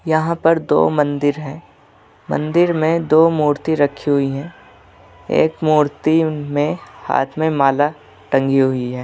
यहाँ पर दो मंदिर हैं मंदिर में दो मूर्ति रखी हुई है एक मूर्ति में हाथ में माला टंगी हुई है।